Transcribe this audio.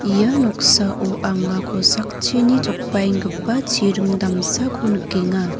ia noksao anga kosakchina jokbaenggipa chiring damsako nikenga.